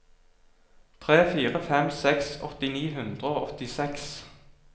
tre fire fem seks åtti ni hundre og åttiseks